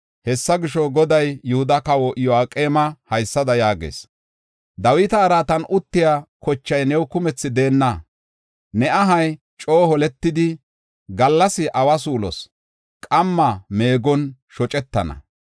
“Hessa gisho, Goday Yihuda kawa Iyo7aqeema haysada yaagees: Dawita araatan uttiya kochay new kumthi deenna. Ne ahay coo holetidi, gallasi awa suulos, qamma meegon shocetana.